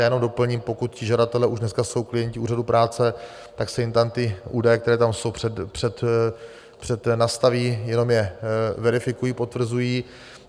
Já jenom doplním: pokud ti žadatelé už dneska jsou klienty úřadu práce, tak se jim tam ty údaje, které tam jsou, přednastaví, jenom je verifikují, potvrzují.